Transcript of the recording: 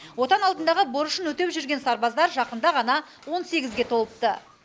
отан алдындағы борышын өтеп жүрген сарбаздар жақында ғана он сегізге толыпты